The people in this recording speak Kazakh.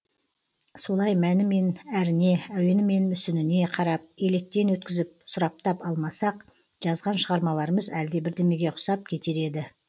солай мәні мен әріне әуені мен мүсініне қарап електен өткізіп сұраптап алмасақ жазған шығармаларымыз әлде бірдемеге ұқсап кетер еді